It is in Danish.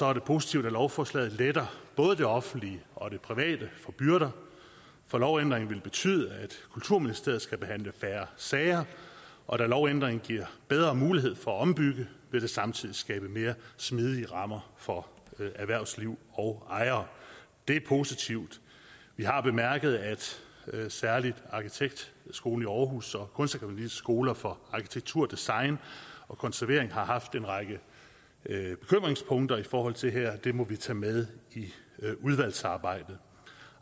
er det positivt at lovforslaget letter både det offentlige og det private for byrder for lovændringen vil betyde at kulturministeriet skal behandle færre sager og da lovændringen giver bedre mulighed for at ombygge vil det samtidig skabe mere smidige rammer for erhvervsliv og ejere det er positivt vi har bemærket at særlig arkitektskolen aarhus og kunstakademis skoler for arkitektur design og konservering har haft en række bekymringspunkter i forhold til det her det må vi tage med i udvalgsarbejdet